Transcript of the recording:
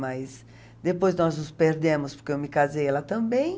Mas depois nós nos perdemos, porque eu me casei e ela também.